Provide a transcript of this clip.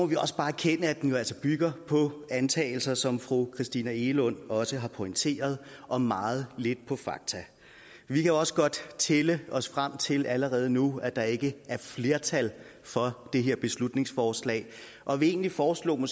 vi også bare erkende at den jo altså bygger på antagelser som fru christina egelund også har pointeret og meget lidt på fakta vi kan også godt tælle os frem til allerede nu at der ikke er flertal for det her beslutningsforslag og vil egentlig foreslå